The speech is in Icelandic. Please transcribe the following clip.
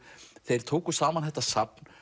þeir tóku saman þetta safn